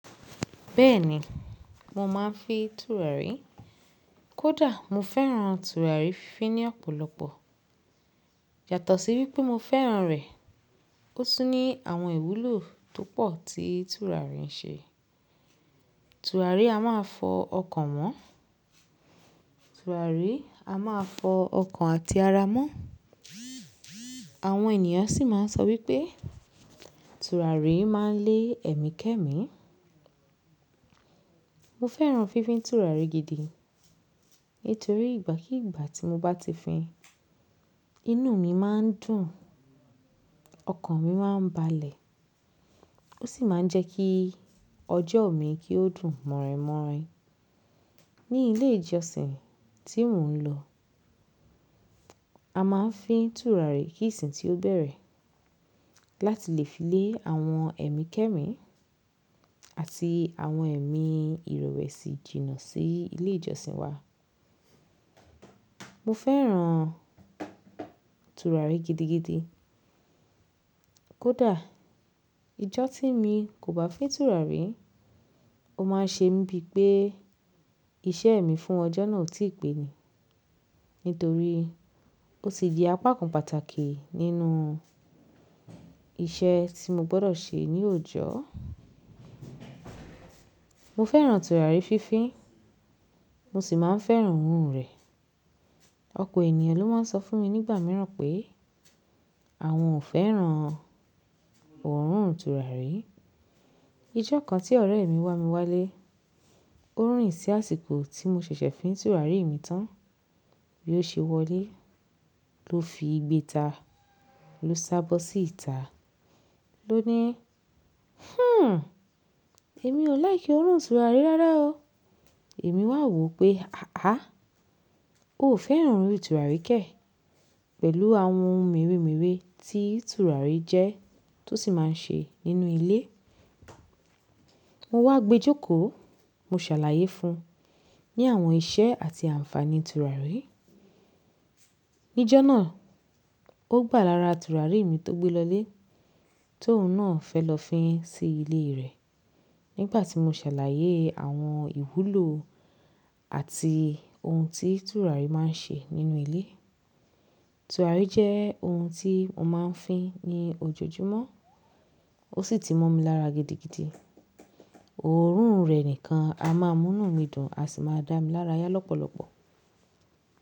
Bẹ́ẹ̀ni, mo máa ń fin tùràrí. Kódà mo fẹ́ràn tùràrí fin ní ọ̀pọ̀lọpọ̀. Yàtọ̀ sí wípé mo fẹ́ràn rẹ̀, ó tún ní àwọn ìwúlò tó pọ̀ tí tùràrí ń ṣe. Tùràrí a máa fọ ọkàn mọ́, tùràrí a máa fọ ọkàn àti ara mọ́. Àwọn ènìyàn sì máa ń sọ wípé tùràrí máa ń lé ẹ̀mí kẹ́mi. Mo fẹ́ràn fínfin tùràrí gidi nítorí ìgbà kíi ìgbà tí mo bá ti fín, inú mi máa ń dùn, ọkàn mi máa ń balẹ̀. Ó sì máa ń jẹ́ kí ọjọ́ mi kí ó dùn mọ̀rìnmọ̀rìn. Ní ilé ìjọsìn tí mò ń lọ, a máa ń fín tùràrí kí ìsìn tí ó bẹ̀rẹ̀ láti lè fi lé àwọn ẹ̀mí kẹ́mi àti àwọn ẹ̀mí ìrewẹ́sí jìnnà sí ilé ìjọsìn wa. Mo fẹ́ràn tùràrí gidigidi. Kódà ìjọ tí mi kò bá fín tùràrí, ó máa ń ṣe mí bíi pé iṣẹ́ mi fún ọjọ́ náà ò tí pẹ́ ni. Nítorí ó ti di apákan pàtàkì nínú iṣẹ́ tí mo gbọ́dọ̀ ṣe ní oòjò. Mo fẹ́ràn tùràrí fífi, mo sì máa ń fẹ́ràn òórùn rẹ̀. Ọ̀pọ̀ ènìyàn ló máa ń sọ fún mi nígbà mìíràn pé àwọn ò fẹ́ràn òórùn tùràrí. Ijọ́ kan tí ọ̀rẹ́ mi wá mi wálé, ó rìn sí àsìkò tí mo ṣẹ̀ṣẹ̀ fín tùràrí mi tán bí ó ṣe wọlé. Lo fi igbéta lo sábó sí ìta lo ní "Hmm, èmi ò like òórùn tùràrí rárá o." Èmi wà wò pé àá, o ò fẹ́ràn òórùn tùràrí kẹ̀ pẹ̀lú àwọn ohun meremere tí tùràrí jẹ́ ti o sì máa ń ṣe nínú ilé. Mo wá gbejókòó, mo ṣàlàyé fun ní àwọn iṣẹ́ àti ànfàní tùràrí. Nijọ́ náà, ó gbà lára tùràrí mi tó gbe lọlé ti oun náà fẹ́ lọ fín sí ilé rẹ̀ nígbà tí mo ṣàlàyé àwọn ìwúlò àti ohun tí tùràrí máa ń ṣe nínú ilé. Tùràrí jẹ́ ohun tí mo máa ń fín ní ojoojúmọ́. O Ó sì ti mọ́ mi lára gidigidi. Òórùn rẹ̀ nìkan a máa mú inù mi dùn, a sì máa dá mi lára yá lọ́pọ̀lọpọ̀.